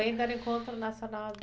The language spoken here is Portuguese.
O ENDA era o Encontro Nacional de Danças.